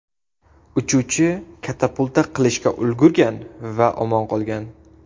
Uchuvchi katapulta qilishga ulgurgan va omon qolgan.